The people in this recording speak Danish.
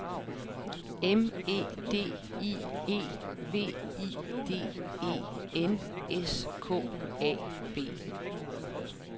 M E D I E V I D E N S K A B